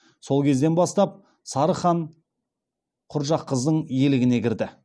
сол кезден бастап сарығ хан құрджақыздың иелігіне кірді